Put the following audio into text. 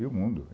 E o mundo?